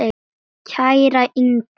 Kæra Inger.